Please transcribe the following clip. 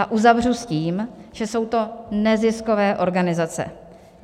A uzavřu s tím, že jsou to neziskové organizace.